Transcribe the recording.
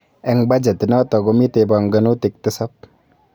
Eng budget inoto komitei pongonutik tisab